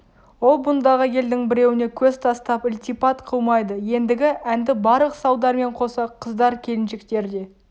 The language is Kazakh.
ол бұндағы елдің біреуіне көз тастап ілтипат қылмайды ендігі әнді барлық салдармен қоса қыздар келіншектер де